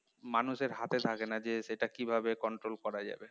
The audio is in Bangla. মানুষের হাতে থাকে না যে সেটা কিভাবে control করা যাবে